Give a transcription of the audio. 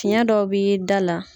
Tiɲɛ dɔw bɛ da la.